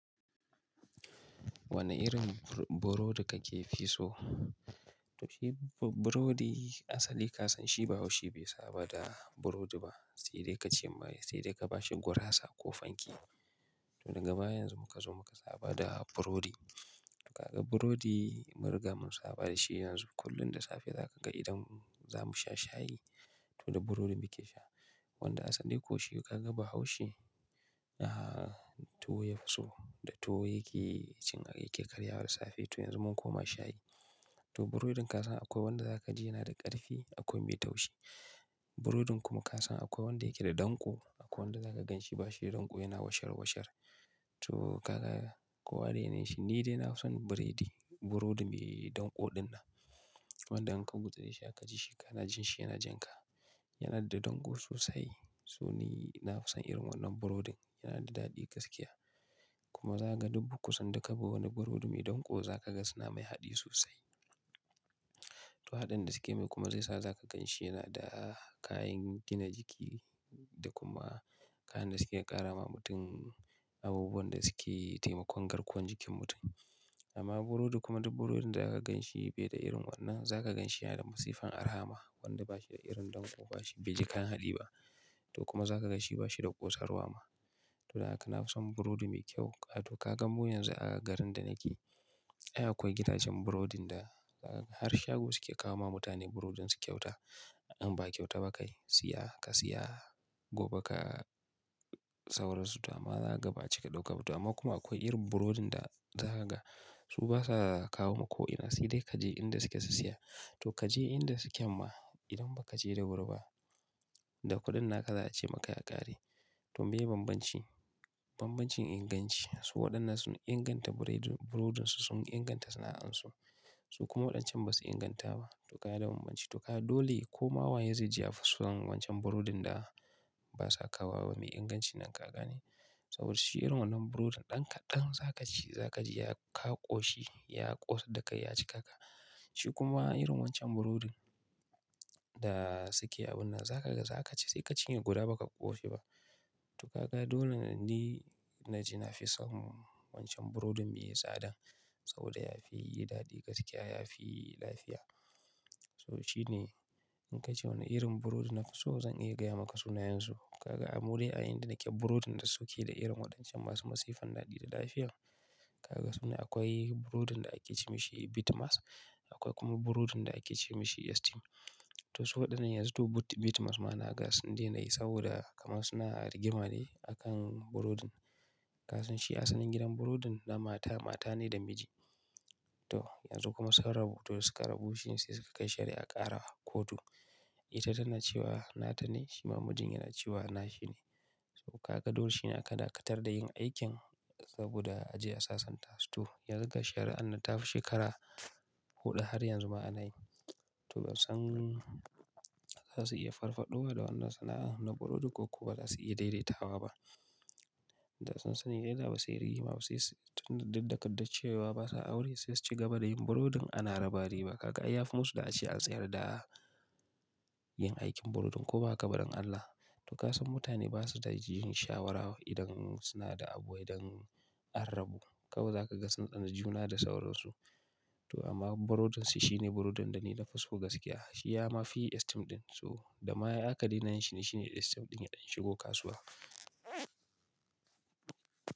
Wane irin burodi kake fi so? To shi burodi asali ka san shi, ba washi be saba da burodi ba. Sai dai kace maye, sai dai ka bashi gurasa ko fanke. To daga baya yanzu muka zo muka saba da burodi. Kaga burodi, mu riga mun saba da shi yanzu kullum da safe zaka ga idan za mu sha shayi to da burodin muke sha. Wanda asali ko shi kaga bahaushe, tuwo fi so da tuwo yake cin yake karyawa da safe to yanzu mun koma shayi. To burodin ka san akwai wanda zaka ji yana da ƙarfi, akwai mai taushi. Burodin kuma ka san akwai wanda yake da ɗanko, akwai wanda zaka gan shi ba shi da ɗanko yana washarwashar. To ka ga kowa da yanayin shi. Ni dai na fi son biredi, burodi mai ɗanko ɗin nan. Wanda in ka gutsure shi haka kaji shi kana jan shi yana jan ka. Yana da ɗanko sosai. So ni na fi son irin wannan burodin, yana da daɗi gaskiya. Kuma zaga duk kusan duka bi wani burodi mai ɗanko zaka ga suna mai haɗi sosai. To haɗin da suke yi kuma zai sa zaka gan shi yana da kayan gina jiki da kuma kayan da suke ƙara ma mutum abubuwan da suke taimakon garkuwan jikin mutum. Amma burodi kuma duk burodin da zaka gan shi bai da irin wannan, zaka gan shi yana da masifan arahama. Wanda ba shi da irin ɗanko ba shi bai ji kayan haɗi ba. To kuma zaka ga shi ba shi da ƙosarwa ma. To haka na fi son burodi me kyau. Kato ka gan mu yanzu a garin da nake, ai akwai gidajen burodin da ka har shago suke kawo ma mutane burodin su kyauta. In ba kyauta ba kai siya ka siya, gobe ka sauransu. To amma za ka gabaci ka ɗauka toamma kuma akwai irin burodin da za ka ga su basa za su kawo maku ko'ina. Sai dai kaje inda suke su siya. To kaje inda suken ma idan ba ka je da wuri ba, da kuɗin naka za a ce maka ya ƙare. To meye bambanci? Bambancin inganci. Su waɗannan sun inganta biredin burodin su, sun inganta sana'an su. Su kuma waɗancan ba su inganta ba. To kaya da bambanci. To kaya dole komawa yezaiji ya fi son wancan burodin da basa kawo wawa nime ingancin nan kaga ne. Saboda shi irin wannan burodin ɗan kaɗan za ka ci za ka ji ya kaƙo shi, ya ƙosar da kai ya ci kaka. Shi kuma irin wancan burodin Da suke abin nan zaka ga zaka ci sai ka cinye guda baka koshi ba to kaka dole ne naji na fi son wancan burodin me tsada. Saboda yafi dadi gaskiya yafi lafiya to shine, in kace wane irin brus nafi so zan iya gaya maka sunayen su Kaga a muriya a inda nake burodin da suke da irin waɗancan masu masifan daɗi da lafiya. Kaga suna akwai burodin da ake ce mashi bitmas, akwai kuma burodin da ake ce masa esteem. To su waɗannan yanzu to bitmas ma na gasun denayi saboda kamar suna rigima ne a kan burodin. Ka san shi asalin gidan burodin na mata, mata ne da miji. To yanzu kuma sun rabu. To suka rabu shine sai suka kai shari'a ƙara kotu. Ita tana cewa nata ne, shi ma mijin yana cewa na shi ne. Kaga dole shi ne aka dakatar da yin aikin saboda a je a sasanta su. To yan zuga shari'a nan tafi shekara huɗu har yanzu ma ana yi. To ba san za su iya farfaɗowa da wannan sana'an na burodi ko kuwa ba za su iya daidaitawa ba. Da sun sani daida ba suyi rigima basai su dikdadace cewa basa aure sai su ci gaba da yin burodin ana rabari ba kaga. Ai yafi musu da a ce an tsayar da yin aikin burodin ko baha kabadon Allah. To ka san mutane basu da jin shawara idan suna da abuwai dan an rabu. Kawai zaka ga sun tsani juna da sauransu. To amma burodin sa shine burodin da ni na fi so gaskiya. Shi ya ma fi esteem ɗin. So da ma aka daina yinshi ne shi ne esteem ɗin ya shigo kasuwa.